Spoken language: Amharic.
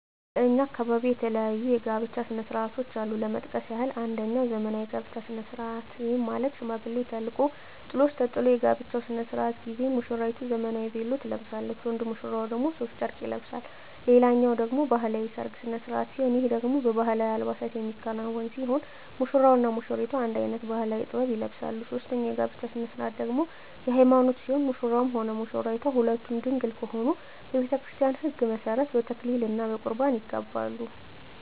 በእኛ አካባቢ የተለያዩ የጋብቻ ስነ ስርዓቶች አሉ ለመጥቀስ ያክል አንጀኛው ዘመናዊ የጋብቻ ስነ ስርዓት ይህም ማለት ሽማግሌ ተልኮ ጥሎሽ ተጥሎ የጋብቻው ስነ ስርዓት ጊዜ ሙስራይቱ ዘመናዊ ቬሎ ትለብሳለች ወንድ ሙሽራው ደግሞ ሡፍ ጨርቅ ይለብሳል ሌላኛው ደግሞ ባህላዊ የሰርግ ስነ ስርዓት ሲሆን ይህ ደግሞ በባህላዊ አልባሳት የሚከናወን ሲሆን ሙሽራው እና ሙሽሪቷ አንድ አይነት ባህላዊ(ጥበብ) ይለብሳሉ ሶስተኛው የጋብቻ ስነ ስርዓት ደግሞ የሀይማኖት ሲሆን ሙሽራውም ሆነ ሙሽራይቷ ሁለቱም ድንግል ከሆኑ በቤተክርስቲያን ህግ መሠረት በተክሊል እና በቁርባን ይጋባሉ።